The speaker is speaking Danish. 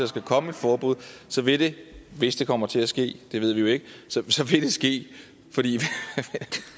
skal komme et forbud så vil det hvis det kommer til at ske det ved vi jo ikke ske fordi